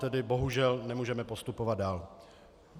Tedy bohužel nemůžeme postupovat dál.